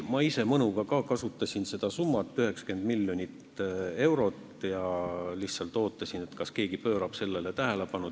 Ma ise mõnuga mainisin ka seda summat, 90 miljonit eurot, ja lihtsalt ootasin, kas keegi pöörab sellele tähelepanu.